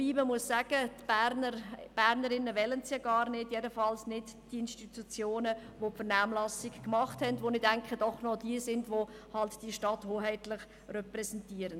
Aber Berner und Bernerinnen wollen es ja gar nicht – jedenfalls nicht die Institutionen, die sich in die Vernehmlassung eingebracht haben und die, wie ich denke, gewissermassen die Stadt repräsentieren.